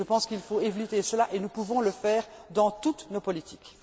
Je pense qu'il faut éviter cela et nous pouvons le faire dans toutes nos politiques.